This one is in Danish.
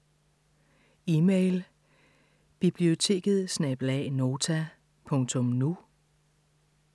Email: biblioteket@nota.nu